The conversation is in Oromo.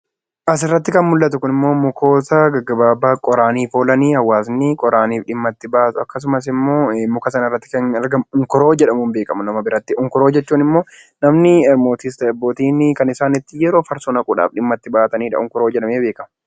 Asirratti kan mul'atu kunimmoo mukoota gaggabaabaa qoraaniif oolanidha hawaasni qoraaniif dhimma itti bahanidha. Suuraa kanarratti kan argamu unkuroo jedhama. Unkuroo jechuun immoo namni mootiis ta'ee gootni kan yeroo itti farsoo naquudhaaf dhimma itti bahaniidha.